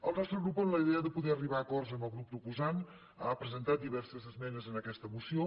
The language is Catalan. el nostre grup amb la idea de poder arribar a acords amb el grup proposant ha presentat diverses esmenes en aquesta moció